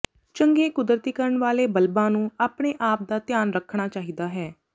ਚੰਗੇ ਕੁਦਰਤੀਕਰਨ ਵਾਲੇ ਬਲਬਾਂ ਨੂੰ ਆਪਣੇ ਆਪ ਦਾ ਧਿਆਨ ਰੱਖਣਾ ਚਾਹੀਦਾ ਹੈ